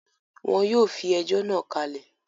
Wọ́n yóò fi ẹjọ́ náà kalẹ̀